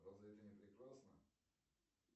разве это не прекрасно